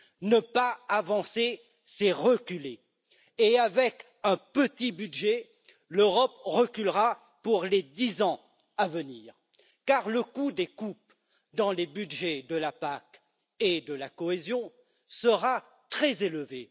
Ne pas avancer, c'est reculer et avec un petit budget, l'Europe reculera pour les dix ans à venir car le coût des coupes dans le budget de la PAC et de la cohésion sera très élevé.